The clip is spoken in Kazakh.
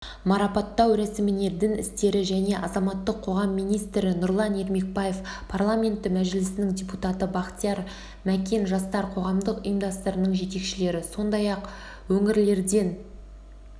марапаттау рәсіміне дін істері және азаматтық қоғам министрі нұрлан ермекбаев парламенті мәжілісінің депутаты бақтияр мәкен жастар қоғамдық ұйымдарының жетекшілері сондай-ақ өңірлерден